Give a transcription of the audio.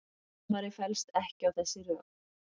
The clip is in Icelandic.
Dómarinn fellst ekki á þessi rök